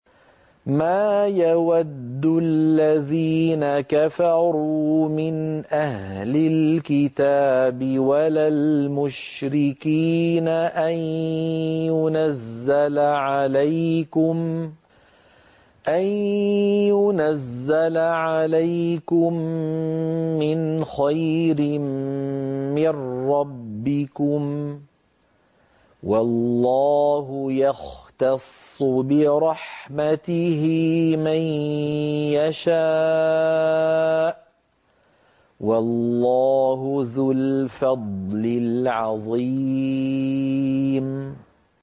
مَّا يَوَدُّ الَّذِينَ كَفَرُوا مِنْ أَهْلِ الْكِتَابِ وَلَا الْمُشْرِكِينَ أَن يُنَزَّلَ عَلَيْكُم مِّنْ خَيْرٍ مِّن رَّبِّكُمْ ۗ وَاللَّهُ يَخْتَصُّ بِرَحْمَتِهِ مَن يَشَاءُ ۚ وَاللَّهُ ذُو الْفَضْلِ الْعَظِيمِ